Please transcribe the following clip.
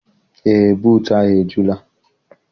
Eé, buutu ahụ ejula.